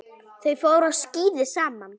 Þau fóru á skíði saman.